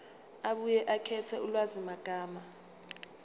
abuye akhethe ulwazimagama